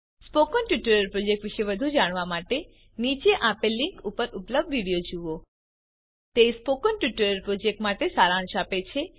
spoken tutorial project વિષે વધુ જાણવા માટે નીચે આપેલ લીંક ઉપર ઉપલબ્ધ વિડીઓ જુઓ તે સ્પોકન ટ્યુટોરીયલ પ્રોજેક્ટ માટે સારાંશ આપે છે